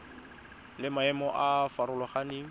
le maemo a a farologaneng